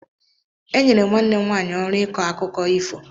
E nyere nwanne m nwanyị ọrụ ịkọ akụkọ ifo.